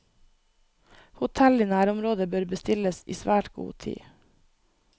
Hotell i nærområdet bør bestilles i svært god tid.